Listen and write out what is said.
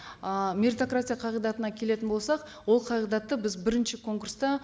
ы меритократия қағидатына келетін болсақ ол қағидатты біз бірінші конкурста